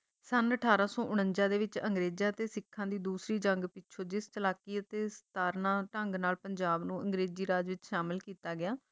ਸੰਨ ਅਠਾਰਾਂ ਸੌ ਉਨੰਜਾ ਦੇ ਵਿੱਚ ਅੰਗਰੇਜਾਂ ਤੇ ਸਿੱਖਾਂ ਦੀ ਦੂਸਰੀ ਜੰਗ ਪਿੱਛੋਂ ਜਿਸ ਚਲਾਕੀ ਅਤੇ ਸਤਾਰਨਾ ਢੰਗ ਨਾਲ ਪੰਜਾਬ ਨੂੰ ਅੰਗਰੇਜ਼ੀ ਰਾਜ ਵਿੱਚ ਸ਼ਾਮਲ ਕੀਤਾ ਗਿਆ